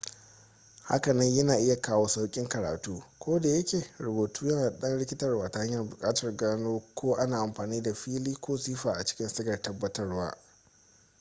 hakanan yana iya kawo sauƙin karatu kodayake rubutu yana da ɗan rikitarwa ta hanyar buƙatar gano ko ana amfani da fi'ili ko sifa a cikin sigar tabbatarwa